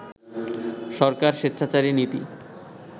সরকার স্বেচ্ছাচারী নীতি